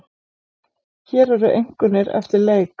Hér eru einkunnir eftir leik.